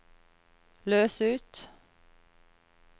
løs ut